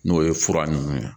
N'o ye fura nunnu ye